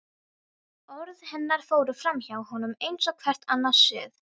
Orð hennar fóru framhjá honum eins og hvert annað suð.